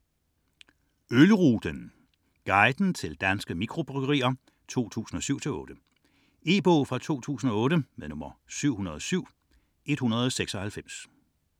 66.84 Ølruten: guiden til danske mikrobryggerier: 2007-2008 E-bog 707196 2008.